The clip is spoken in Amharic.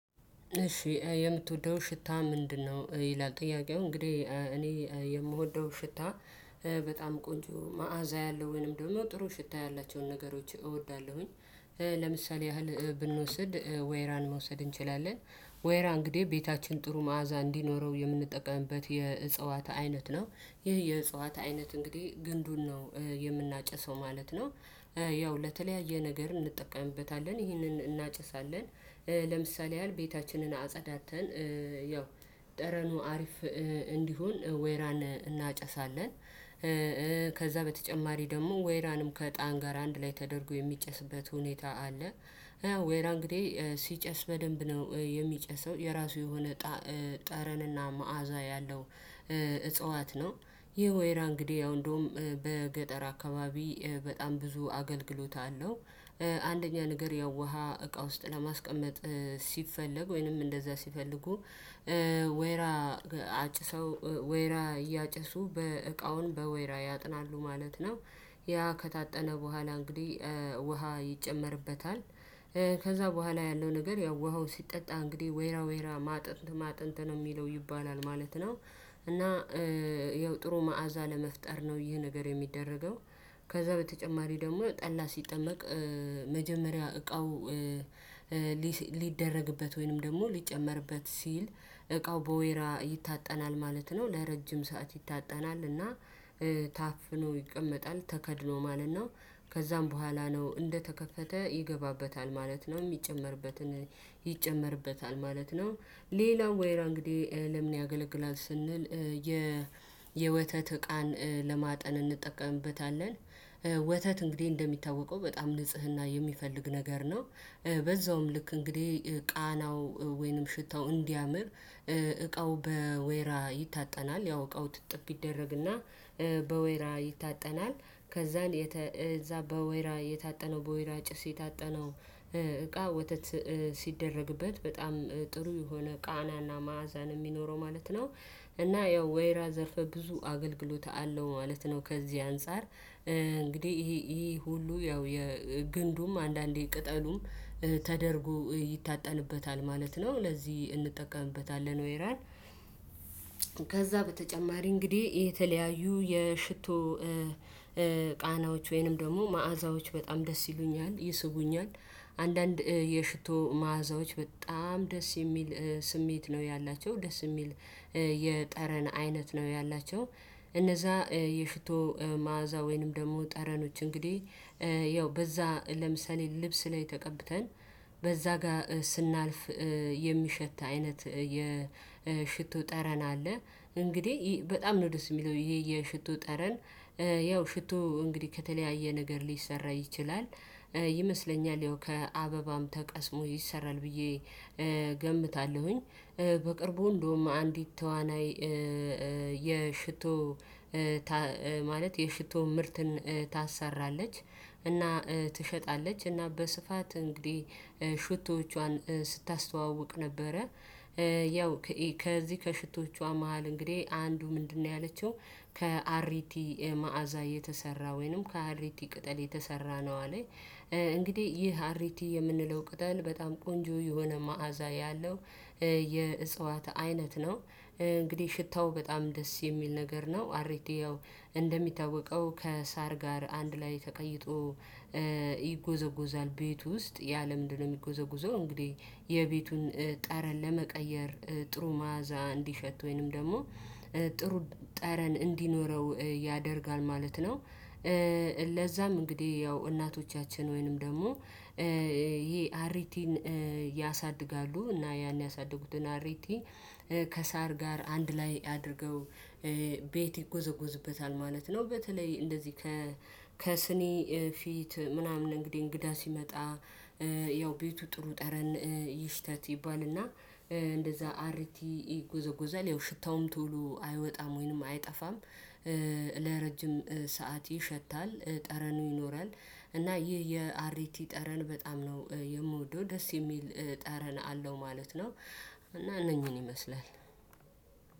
እሺ የምትወደው ሽታ ምንድነው? ይላል ጥያቄው እንግዲህ እኔ የምወደው ሽታ በጣም ቆንጆ መዓዛ ያለው ወይንም ደግሞ ጥሩ ሽታ ያላቸውን ነገሮች እወዳለሁኝ። ለምሳሌ ያህል ብንወስድ ወይራን መውሰድ እንችላለን። ወይራ እንግዲህ ቤታችን ጥሩ መዓዛ እንዲኖረው የምንጠቀምበት የእጽዋት አይነት ነው ይህ የእጸዋት አይነት እንግዲህ ግንዱን ነው የምናጨሰው ማለት ነው። ያው ለተለያየ ነገር እንጠቀምበታለን ይህንን እናጨሳለን። ለምሳሌ ያህል ቤታችንን አጸዳድተን ያው ጠረኑ አሪፍ እንዲሆን ወይራን እናጨሳለን። በተጨማሪ ደግሞ ወይራንም ከእጣን ጋር አንድ ላይ ተደርጎ የሚጨስበት ሁኔታ አለ። ወይራ እንግዲህ ሲጨስ በደንብ ነው የሚጨስው የራሱ የሆነ ጠረንና መዓዛ ያለው እጽዋት ነው። ይህ ወይራ እንግዲህ ያው እንደውም በገጠር አካባቢ በጣም ብዙ አገልግሎት አለው። አንደኛ ነገር ያው ውሃ እቃ ውስጥ ለማስቀመጥ ሲፈለግ ወይንም እንደዛ ሲፈልጉ። ወይራ አጭሰው ወይራ እያጨሱ በእቃውን በወይራ ያጥናሉ ማለት ነው። ያ ከታጠነ በኋላ እንግዲህ ውሃ ይጨመርበታል። ከዛ በኋላ ያለው ነገር ያው ውሃው ሲጠጣ እንግዲህ ወይራ ወይራ ማጥንት ማጥንት ነው የሚለው ይባላል ማለት ነው። እና ይኸው ጥሩ መዓዛ ለመፍጠር ነው ይህ ነገር የሚደረገው። ከዛ በተጨማሪ ደግሞ ጠላ ሲጠመቅ። መጀመሪያ እቃው ሊደረግበት ወይንም ደግሞ ሊጨመርበት ሲል እቃው በወይራ ይታጠናል ማለት ነው ለረጅም ሰዓት ይታጠናል እና ታፍኖ ይቀመጣል ተከድኖ ማለት ነው። ከዛም በኋላ ነው እንደተከፈተ ይገባበታል ማለት ነው። እሚጨመርበትን ይጨመርበታል ማለት ነው። ሌላው ወይራ እንግዲህ ለምን ያገለግላል ስንል? የወተት እቃን ለማጠን እንጠቀምበታለን። ወተት እንግዲህ እንደሚታወቀው በጣም ንጽህና የሚፈልግ ነገር ነው። በዛውም ልክ እንግዲህ ቃናው ወይንም ሽታው እንዲያምር እቃው በወይራ ይታጠናል ያው እቃው ትጥብ ይደረግና በወይራ ይታጠናል። ከዛን እዛ በወይራ የታጠነው በወይራ ጭስ የታጠነው እቃ ወተት ሲደረግበት በጣም ጥሩ የሆነ ቃናና ማዕዛ ነው እሚኖረው ማለት ነው። እና ያው ወይራ ዘርፈ ብዙ አገልግሎት አለው ማለት ነው። ከዚህ አንፃር እንግዲህ ይሄ ይሄ ሁሉ ያው የግንዱም አንዳንዴ ቅጠሉም ተደርጎ ይታጠንበታል ማለት ነው። ለዚህ እንጠቀምበታለን ወይራን ከዛ በተጨማሪ እንግዲህ የተለያዩ የሽቶ ቃናዎች ወይንም ደግሞ መዓዛዎች በጣም ደስ ይሉኛል ይስቡኛል። አንዳንድ የሽቶ መዓዛዎች በጣም ደስ የሚል ስሜት ነው ያላቸው ደስ እሚል የጠረን አይነት ነው ያላቸው። እነዛ የሽቶ መዓዛ ወይንም ደግሞ ጠረኖች እንግዲህ በዛ ለምሳሌ ልብስ ላይ ተቀብተን በዛ ጋር ስናልፍ የሚሸት አይነት የሽቶ ጠረን አለ። እንግዲህ በጣም ነው ደስ እሚለው ይሀሰ የሽቶ ጠረን። ያው ሽቶ እንግዲህ ከተለያየ ነገር ሊሰራ ይችላል። ይመስለኛል ያው ከአበባም ተቀስሞ ይሰራል ብዬ እገምታለሁኝ። በቅርቡ እንደውም አንዲት ተዋናይ የሽቶ ማለት የሽቶ ምርትን ታሰራለች እና ትሸጣለች እና በስፋት እንግዲህ ሽቶዎቿን ስታስተዋውቅ ነበረ ያው ከዚህ ከሽቶዎቿ መሃል እንግዲህ አንዱ ምንድነው ያለችው ከአሪቲ መዓዛ የተሰራ ወይንም ከአሪቲ ቅጠል የተሰራ ነው አለይ። እንግዲህ ይህ አሪቲ የምንለው ቅጠል በጣም ቆንጆ የሆነ መዓዛ ያለው የእጽዋት አይነት ነው። እንግዲህ ሽታው በጣም ደስ የሚል ነገር ነው። አርቲይ ያው እንደሚታወቀው ከሳር ጋር አንድ ላይ ተቀይጦ ይጎዘጎዛል ቤት ውስጥ ያለ ለምንድነው የሚጎዘጎዘው? እንግዲህ የቤቱን ጠረን ለመቀየር ጥሩ ማዕዛ እንዲሸት ወይንም ደግሞ ጥሩ ጠረን እንዲኖረው ያደርጋል ማለት ነው። ለዛም እንግዲህ ያው እናቶቻችን ወይንም ደግሞ ይሄ አሪቲን ያሳድጋሉ እና ያን ያሳደጉትን አሪቲ ከሳር ጋር አንድ ላይ አድርገው ቤት ይጎዘጎዝበታል ማለት ነው። በተለይ እንደዚህ ከስኒ ፊት ምናምን እንግዲህ እንግዳ ሲመጣ ያው ቤቱ ጥሩ ጠረን ይሽተት ይባልና እንደዛ አርቲ ይጎዘጎዛል ያው ሽታውም ቶሎ አይወጣም ወይንም አይጠፋም። ለረጅም ሰዓት ይሸታል ጠረኑ ይኖራል። እና ይህ የአሪቲ ጠረን በጣም ነው የምወደው ደስ የሚል ጠረን አለው ማለት ነው። እና እነኚህን ይመስላል።